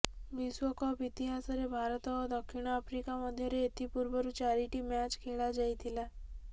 ବିଶ୍ୱକପ୍ ଇତିହାସରେ ଭାରତ ଓ ଦକ୍ଷିଣ ଆଫ୍ରିକା ମଧ୍ୟରେ ଏଥିପୂର୍ବରୁ ଚାରିଟି ମ୍ୟାଚ୍ ଖେଳାଯାଇଥିଲା